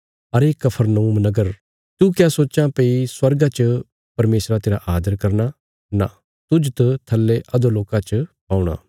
अरे कफरनहूम नगर तू क्या सोच्चां भई स्वर्गा च परमेशरा तेरा आदर करना नां तुज त थल्ले अधोलोका च पौणा